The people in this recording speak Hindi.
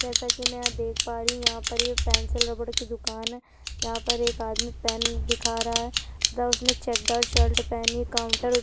जैसा की मै देख पा रही हु यहाँ पर एक पेन्सिल रबर की दुकान है यहाँ पर एक आदमी पेन दिखा रहा है तथा उसने चेकदार शर्ट पहनी है काउंटर --